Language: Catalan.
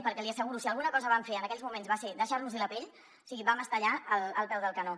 perquè l’hi asseguro si alguna cosa vam fer en aquells moments va ser deixar nos hi la pell o sigui vam estar allà al peu del canó